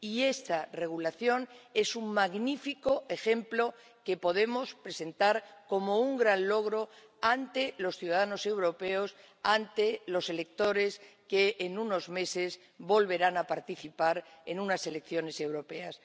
Y esta regulación es un magnífico ejemplo que podemos presentar como un gran logro ante los ciudadanos europeos, ante los electores que, en unos meses, volverán a participar en unas elecciones europeas.